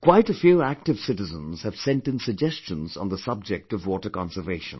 Quite a few active citizens have sent in suggestions on the subject of water conservation